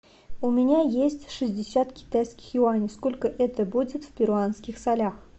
у меня есть шестьдесят китайских юаней сколько это будет в перуанских солях